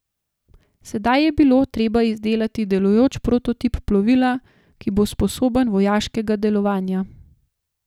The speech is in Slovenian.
Sedaj je bilo treba izdelati delujoč prototip plovila, ki bo sposoben vojaškega delovanja.